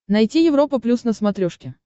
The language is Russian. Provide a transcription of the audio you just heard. найти европа плюс на смотрешке